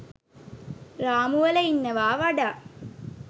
රාමුවල ඉන්නවා වඩා